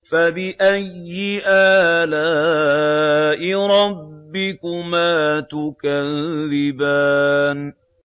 فَبِأَيِّ آلَاءِ رَبِّكُمَا تُكَذِّبَانِ